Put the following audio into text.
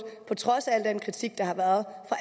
på trods af al den kritik der har været